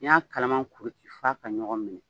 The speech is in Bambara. N'i y'a kalaman kuru ci f'a ka ɲɔgɔn minɛ.